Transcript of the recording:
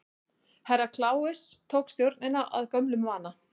Herra Kláus tók stjórnina að gömlum vana.